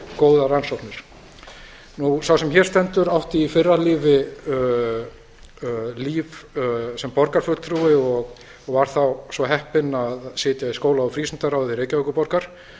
góðar rannsóknir sá sem hér stendur átti í fyrra lífi líf sem borgarfulltrúi og var þá svo heppinn að sitja í skóla og frístundaráði reykjavíkurborgar